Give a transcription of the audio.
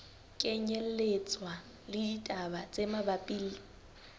kenyelletswa le ditaba tse mabapi